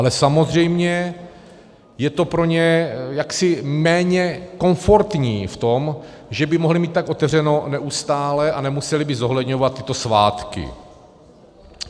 Ale samozřejmě je to pro ně jaksi méně komfortní v tom, že by mohli mít tak otevřeno neustále a nemuseli by zohledňovat tyto svátky.